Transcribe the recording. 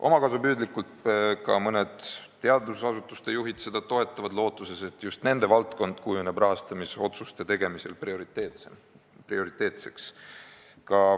Omakasupüüdlikult toetavad seda ka mõned teadusasutuste juhid, lootuses, et just nende valdkond kujuneb rahastamisotsuste tegemisel prioriteetseks.